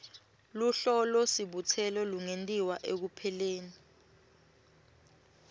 luhlolosibutselo lungentiwa ekupheleni